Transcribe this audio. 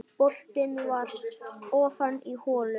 Boltinn var ofan í holu.